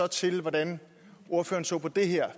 til hvordan ordføreren så på det her